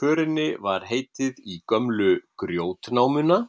Förinni var heitið í gömlu GRJÓTNÁMUNA,